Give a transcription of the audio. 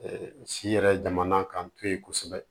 si yɛrɛ jamana k'an to yen kosɛbɛ